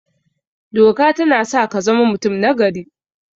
Doka tana sa kazama mutum nagari